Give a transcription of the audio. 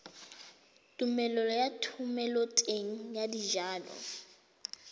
tumelelo ya thomeloteng ya dijalo